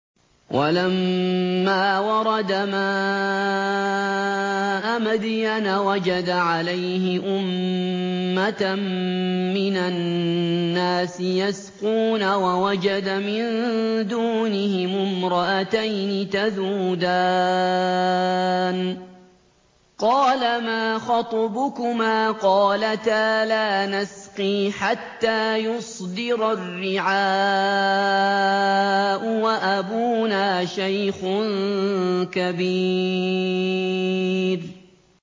وَلَمَّا وَرَدَ مَاءَ مَدْيَنَ وَجَدَ عَلَيْهِ أُمَّةً مِّنَ النَّاسِ يَسْقُونَ وَوَجَدَ مِن دُونِهِمُ امْرَأَتَيْنِ تَذُودَانِ ۖ قَالَ مَا خَطْبُكُمَا ۖ قَالَتَا لَا نَسْقِي حَتَّىٰ يُصْدِرَ الرِّعَاءُ ۖ وَأَبُونَا شَيْخٌ كَبِيرٌ